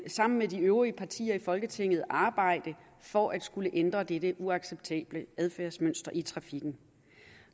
sammen med de øvrige partier i folketinget vil vi arbejde for at ændre dette uacceptable adfærdsmønster i trafikken